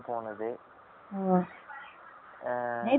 நேத்து night தான் போனிங்கலா